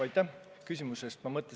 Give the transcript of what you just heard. Aitäh küsimuse eest!